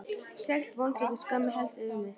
Sekt, vonleysi og skömm helltist yfir mig.